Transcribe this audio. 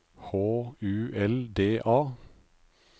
H U L D A